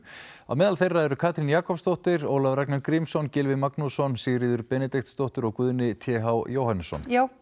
á meðal þeirra eru Katrín Jakobsdóttir Ólafur Ragnar Grímsson Gylfi Magnússon Sigríður Benediktsdóttir og Guðni t h Jóhannesson já